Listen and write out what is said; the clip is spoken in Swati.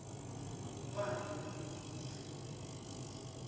ngubani lomunye umuntfu